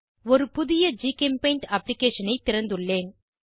ஒரு புதிய ஜிகெம்பெய்ண்ட் அப்ளிகேஷனை திறந்துள்ளேன்